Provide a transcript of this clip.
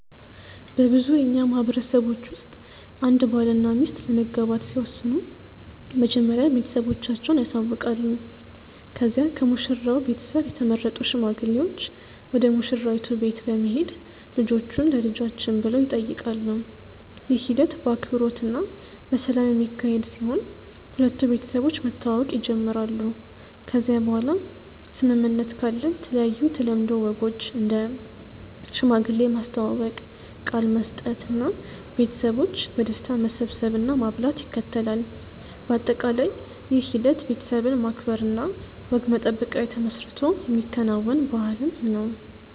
በብዙ የእኛ ማህበረሰቦች ውስጥ አንድ ባልና ሚስት ለመጋባት ሲወስኑ መጀመሪያ ቤተሰቦቻቸውን ያሳውቃሉ ከዚያ ከሙሽራው ቤተሰብ የተመረጡ ሽማግሌዎች ወደ ሙሽራይቱ ቤት በመሄድ ልጆቹን ለልጆችን ብሎ ይጠይቃሉ። ይህ ሂደት በአክብሮት እና በሰላም የሚካሄድ ሲሆን ሁለቱ ቤተሰቦች መተዋወቅ ይጀምራሉ ከዚያ በኋላ ስምምነት ካለ የተለያዩ የተለምዶ ወጎች እንደ ሽማግሌ ማስተዋወቅ፣ ቃል መስጠት እና ቤተሰቦች በደስታ መሰብሰብ እና ማብላት ይከተላል። በአጠቃላይ ይህ ሂደት ቤተሰብን ማክበር እና ወግ መጠበቅ ላይ ተመስርቶ የሚከናወን ባህልን ነው።